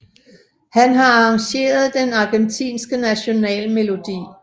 Han har arrangeret den Argentinske National Melodi